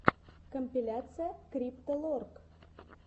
компиляция крипто лорк